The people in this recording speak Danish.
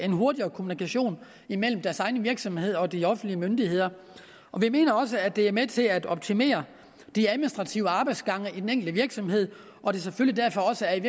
en hurtigere kommunikation imellem deres egen virksomhed og de offentlige myndigheder og vi mener også at det er med til at optimere de administrative arbejdsgange i den enkelte virksomhed og at det selvfølgelig derfor også er